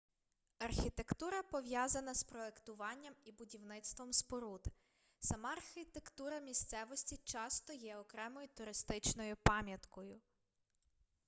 архітектура пов'язана з проектуванням і будівництвом споруд сама архітектура місцевості часто є окремою туристичною пам'яткою